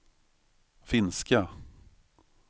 finska